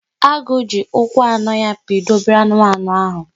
Agụ ji ụkwụ anọ ya pido obere anụmanụ ahụ.